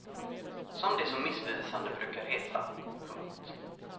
Som det så missvisande brukar heta. punkt